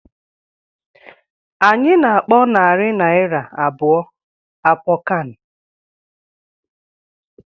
Anyị na-akpọ narị naira abụọ àpọ kán